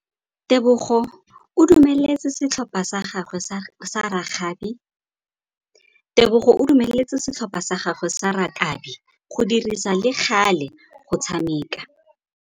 Tebogô o dumeletse setlhopha sa gagwe sa rakabi go dirisa le galê go tshameka.